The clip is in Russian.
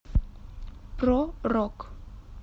про рок